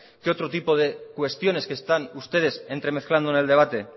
que otro tipo de cuestiones que están ustedes entremezclando en el debate